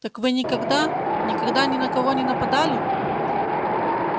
так вы никогда никогда ни на кого не нападали